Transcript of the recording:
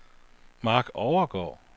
Mark Overgaard